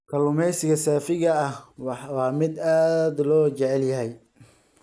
Kalluumeysiga saafiga ah waa mid aad loo jecel yahay.